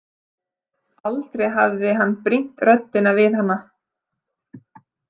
Aldrei hafði hann brýnt röddina við hana.